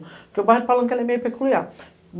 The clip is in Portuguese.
Porque o bairro de Palanque é meio peculiar.